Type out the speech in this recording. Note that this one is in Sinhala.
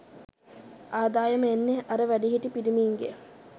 ආදායම එන්නේ අර වැඩිහිටි පිරිමින්ගෙන්.